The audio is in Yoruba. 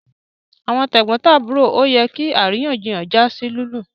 Àwọn tegbontaburo ọ yẹ kí àríyànjiyàn já sí lilu